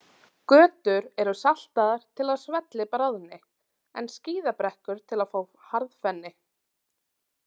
Götur eru saltaðar til að svellið bráðni, en skíðabrekkur til að fá harðfenni.